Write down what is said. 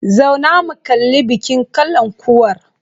Zauna mu kalli bikin kalankuwar!